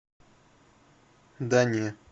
да не